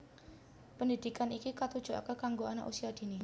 Pendhidhikan iki katujokake kanggo Anak Usia Dini